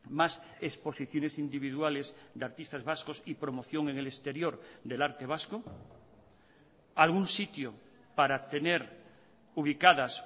más exposiciones individuales de artistas vascos y promoción en el exterior del arte vasco algún sitio para tener ubicadas